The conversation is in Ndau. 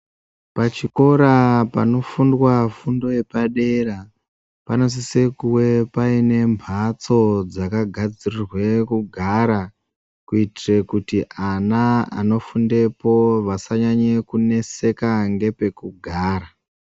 Pachikora panofundwa fundo yepadera panosisa kuwe paine mbatso dzakagadzirirwe kugara kuitire kuti ana anofundepo vasanyanye kuneseka ngepekugara.